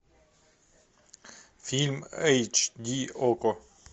фильм эйч ди окко